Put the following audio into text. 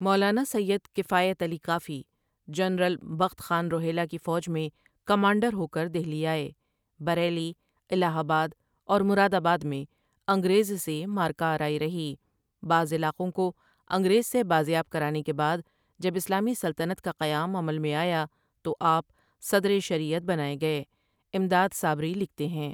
مولانا Syed Kifayat Ali Kafi, general Bakht Khan Rohilla کی فوج میں کمانڈر ہو کر دہلی آئے بریلی، الہ آباد اور مرادآباد میں انگریز سے معرکہ آرائی رہی بعض علاقوں کو انگریز سے بازیاب کرانے کے بعد جب اسلامی سلطنت کا قیام عمل میں آیا تو آپ صدرِ شریعت بنائے گئے امداد صابری لکھتے ہیں ۔